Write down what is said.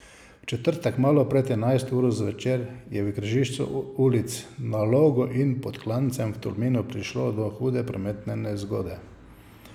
V četrtek malo pred enajsto uro zvečer je v križišču ulic Na Logu in Pod Klancem v Tolminu prišlo do hude prometne nezgode.